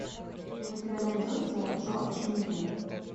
у тебя найдется джордж миллер